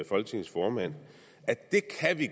folketings formand